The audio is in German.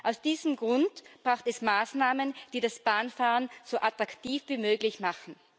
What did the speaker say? Aus diesem Grund braucht es Maßnahmen, die das Bahnfahren so attraktiv wie möglich machen.